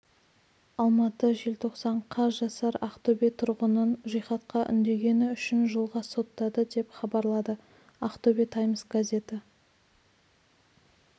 алматы желтоқсан қаз жасар ақтөбе тұрғынын жихадқа үндегені үшін жылға соттады деп хабарлады ақтөбе таймс газеті